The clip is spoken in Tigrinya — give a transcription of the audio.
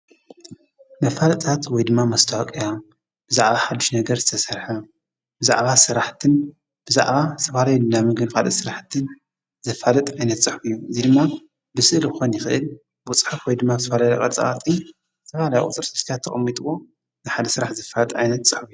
ፖለቲካ ማለት ሕብረተሰብ ከመይ ክመሓደርን ስልጣን ክመይ ክመቃቀልን ከምዘለዎን ዉሳኔታት ከመይ ከምዘግበር ብሕብረተሰብና ከመይ ከምዝማሓደር ዝውስን ከይዲ እዩ:: ፖለቲካ ዕብየት ዓድና ኣበይ ደረጃ ኣሎ?